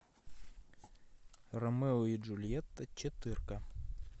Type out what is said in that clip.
ромео и джульетта четырка